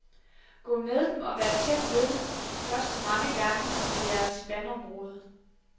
Gå med dem og vær tæt ved dem de første mange gange ved jeres vandområde.